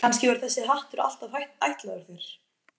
Kannski var þessi hattur alltaf ætlaður þér.